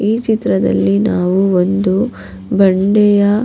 ಈ ಚಿತ್ರದಲ್ಲಿ ನಾವು ಒಂದು ಬಂಡೆಯ.